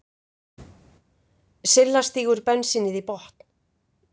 Silla stígur bensínið í botn.